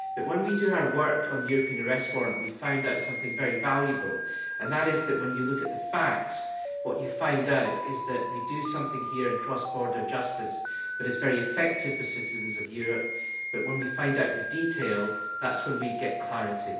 But when we did our work on the European Arrest Warrant we found out something very valuable and that is that when you look at the facts, what you find out is that we do something here in cross border justice that is very effective for citizens of Europe, but when we find out the detail, that is when we get clarity.